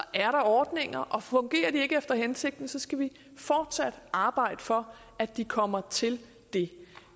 er der ordninger og fungerer de ikke efter hensigten skal vi fortsat arbejde for at de kommer til det